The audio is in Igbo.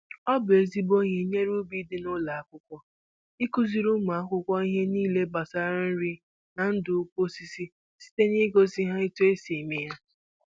Ọ bụ ezigbo ìhé nyere ubi dị n'ụlọ akwụkwọ, ị kụziri ụmụ akwụkwọ ihe nílé gbasara nri na ndụ ukwu osisi site na ị gosi ha otú e si eme ya